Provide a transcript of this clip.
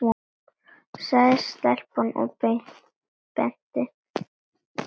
sagði stelpan og benti.